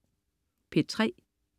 P3: